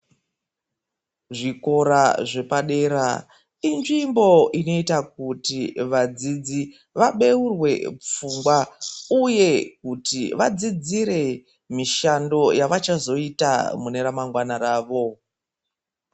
Zvikora zvepadera inzvimbo inoita kuti vadzidzi vabeurwe pfungwa uye kuti vadzidzire mishando yavachazoita mune ramangwana rawo.